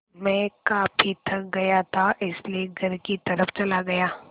मैं काफ़ी थक गया था इसलिए घर की तरफ़ चला गया